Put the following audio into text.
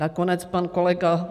Nakonec pan kolega